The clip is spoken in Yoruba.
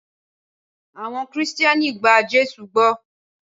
Awon Kristẹni gba Jésụ gbó.